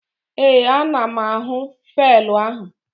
Ee, ana m ahụ faịlụ ahụ